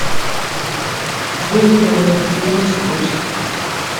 выведи мне фильм спуск